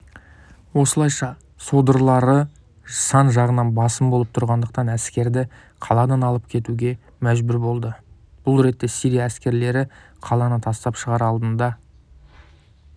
осылайша содырлары сан жағынан басым болып тұрғандықтан әскерді қаладан алып кетуге мәжбүр болды бұл ретте сирия әскерлері қаланы тастап шығар алдында